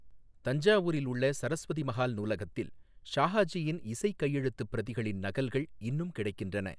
தஞ்சாவூரில் உள்ள சரஸ்வதி மஹால் நூலகத்தில் ஷாஹாஜியின் இசைக் கையெழுத்துப் பிரதிகளின் நகல்கள் இன்னும் கிடைக்கின்றன.